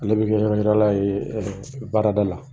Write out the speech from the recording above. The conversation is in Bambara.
Ale bɛ nɔnɔ klanan ye baarada la.